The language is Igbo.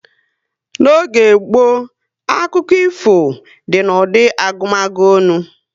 N'oge gboo, akụkọ ifo dị na ụdị agumagu onu